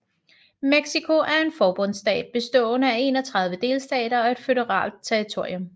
Mexico er en forbundsstat bestående af 31 delstater og et føderalt territorium